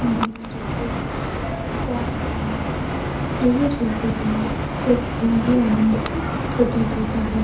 झूला झूलते वक्त किसको आनंद नहीं आता। झूला झूलते समय एक अलग ही आनंद प्र-प्रतीत होता है।